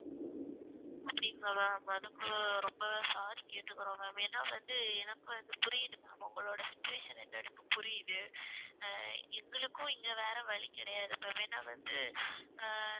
அப்படிங்களா ma'am அதுக்கு ரொம்ப sorry கேட்டுக்குறோம் ma'am ஏன்னா வந்து எனக்கும் அது புரியுது ma'am உங்களோட situation என்னன்னு புரியுது ஆஹ் எங்களுக்கும் இங்க வேற வழி கிடையாது இப்ப வேணா வந்து ஆஹ்